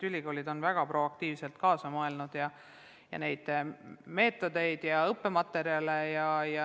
Ülikoolid on väga proaktiivselt kaasa mõelnud ja arendanud erinevaid meetodeid ja õppematerjale.